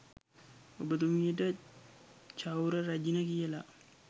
ඔබතුමියට චෞර රැජින කියල